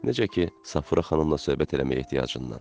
Necə ki, Safura xanımla söhbət eləməyə ehtiyacından,